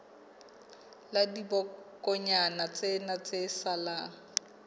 la dibokonyana tsena tse salang